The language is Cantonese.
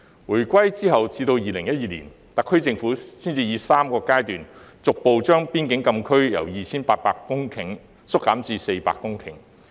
回歸後至2012年，特區政府才以3個階段，逐步將邊境禁區由約 2,800 公頃縮減至約400公頃。